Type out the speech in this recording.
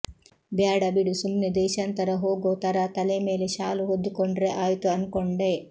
ಬ್ಯಾಡ ಬಿಡು ಸುಮ್ನೆ ದೇಶಾಂತರ ಹೋಗೋ ಥರಾ ತಲೆ ಮೇಲೆ ಶಾಲು ಹೊದ್ದುಕೊಂಡ್ರೆ ಆಯ್ತು ಅನ್ಕೊಂಡೆ